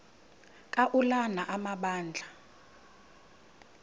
ka ulana amabandla